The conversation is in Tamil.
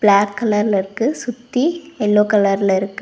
பிளாக் கலர்ல இருக்கு சுத்தி எல்லோ கலர்ல இருக்கு.